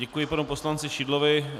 Děkuji panu poslanci Šidlovi.